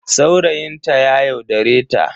Saurayin ta ya yaudare ta.